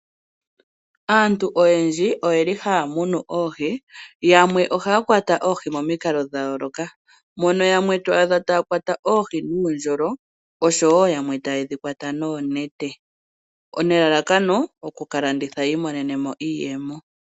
Aantu oyendji oyeli haya munu oohi. Yamwe ohaya kwata oohi momikalo dha yooloka. Mono yamwe to adha taya kwata oohi nuundjolo nosho wo yamwe taye dhi kwata noonete. Nelalako oku kalanditha ya vule oku imonenamo iiyemo.